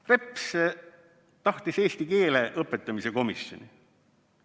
Reps tahtis eesti keele õpetamise komisjoni.